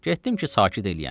Getdim ki, sakit eləyim.